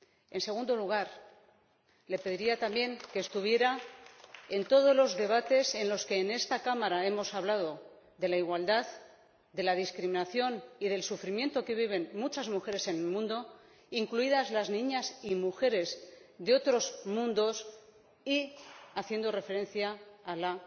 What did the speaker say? En segundo lugar, le pediría también que estuviera en todos los debates en los que en esta Cámara hemos hablado de la igualdad, de la discriminación y del sufrimiento que viven muchas mujeres en el mundo, incluidas las niñas y mujeres de otros mundos, y en los que se ha hecho referencia a la